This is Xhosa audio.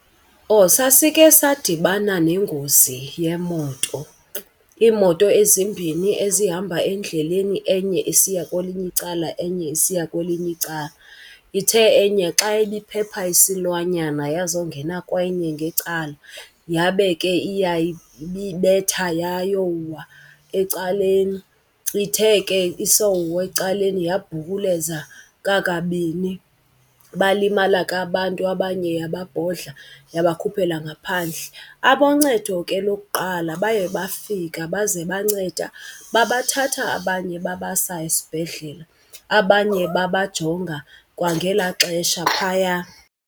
Oh sasike sadibana nengozi yemoto, iimoto ezimbini ezihamba endleleni, enye isiya kwelinye icala enye isiya kwelinye icala. Ithe enye xa ibiphepha isilwanyana yazongena kwenye ngecala yabe ke iyayibetha yayowa ecaleni. Ithe ke isowa ecaleni yabhukuleza kakabini balimala ke abantu abanye yababhodla yabakhuphela ngaphandle. Aboncedo ke lokuqala baye bafika baze banceda babathatha abanye babasa esibhedlele, abanye babajonga kwangelaa xesha phaya.